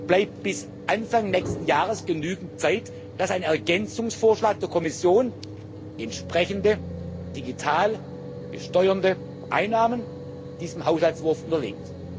Dann bleibt bis Anfang nächsten Jahres genügend Zeit, dass ein Ergänzungsvorschlag der Kommission entsprechende Digitales besteuernde Einnahmen diesem Haushaltsentwurf unterlegt.